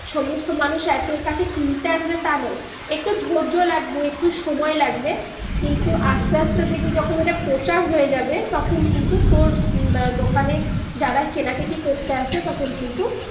সমস্ত মানুষ এত কিনতে আসবে তা নয় একটু ধৈর্য লাগবে একটু সময় লাগবে কিন্তু আস্তে আস্তে দেখবি যখন ওটা প্রচার হয়ে যাবে তখন কিন্তু তর উম দোকানে যারা কিনা কিটি করতে আসবে তখন কিন্তু